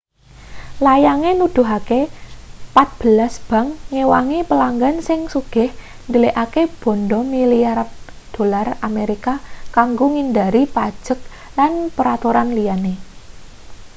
layange nuduhake patbelas bank ngewangi pelanggan sing sugih ndelikake banda milyaran dolar amerika kanggo ngindhari pajek lan peraturan liyane